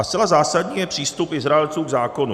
A zcela zásadní je přístup Izraelců k zákonu.